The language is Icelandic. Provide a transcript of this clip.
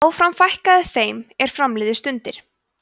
áfram fækkaði þeim er fram liðu stundir